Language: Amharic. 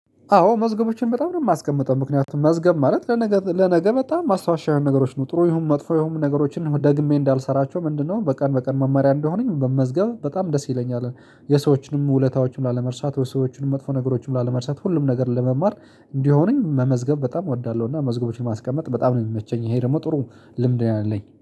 አዎ መዝገቦችን በጣም ነው የማስቀምጠ፤ ምክንያቱም መዝገብ ማለት ለነገ ለነገ በጣም ማስታወሻ የሆኑ ነው ጥሩ ይሁን መጥፎ ይሁን ነገሮችን ደግሜ እንዳልሰራቸው ምንድነው በቀን በቀን መማሪያ እንደሆነኝ መመዝገብ በጣም ደስ ይለኛል። የሰዎችንም ውለታዎችንም ላለመርሳት ወይ ሰዎችን መጥፎ ነገሮችን ላለመርሳት ሁሉም ነገር ለመማር እንዲሆነኝ መመዝገብ በጣም እወዳለሁና መዝገቦችን ማስቀመጥ በጣም ነው የሚመቸኝ። ይሄ ደግሞ ጥሩ ልምድ ነው ያለኝ